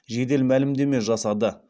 жедел мәлімдеме жасады